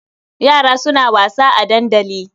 Yara suna wasa a dandali.